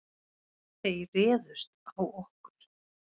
Þeir réðust á okkur.